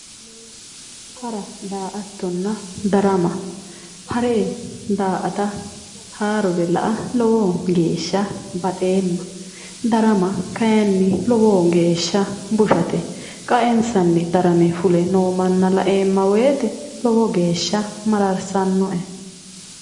Hara daa"attonna darama hare daa"ate haarore la"a lowo geeshsha baxeemma darama kayinni lowo geeshsha bushate qa"ensanni darame fule noo manna la"eemma woyte lowo geeshsha mararsannoe